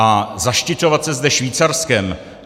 A zaštiťovat se zde Švýcarskem?